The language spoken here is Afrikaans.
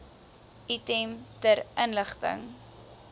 item ter inligting